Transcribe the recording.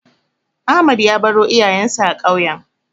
Ahmed ya baro iyayensa a ƙauyen.